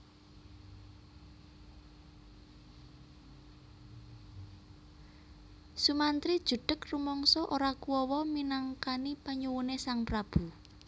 Sumantri judheg rumangsa ora kuwawa minangkani panyuwune Sang prabu